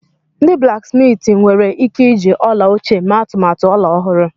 Ndị blaksmiiti nwere ike iji ọla ochie mee atụmatụ ọla ọhụrụ.